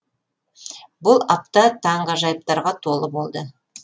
бұл апта таңғажайыптарға толы болды